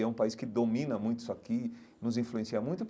E é um país que domina muito isso aqui, nos influencia muito.